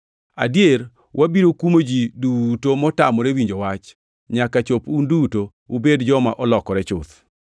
Adier, wabiro kumo ji duto motamore winjo wach, nyaka chop un duto ubed joma olokore chuth.